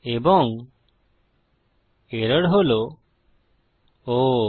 এবং এরর হল Oh